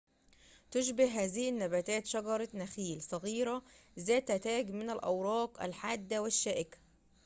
تشبه هذه النباتات شجرة نخيل صغيرة ذات تاج من الأوراق الحادة والشائكة